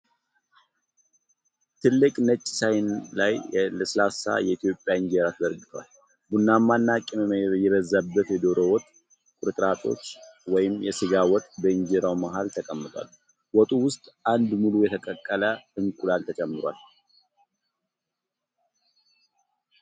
ትልቅ ነጭ ሳህን ላይ ለስላሳ የኢትዮጵያ እንጀራ ተዘርግቷል። ቡናማና ቅመም የበዛበት የዶሮ ወጥ ቁርጥራጮች (ወይም ሥጋ ወጥ) በእንጀራው መሃል ተቀምጠዋል። ወጡ ውስጥ አንድ ሙሉ የተቀቀለ እንቁላል ተጨምሯል።